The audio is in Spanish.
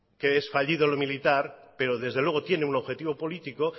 que es fallido el militar pero desde luego tiene un objetivo político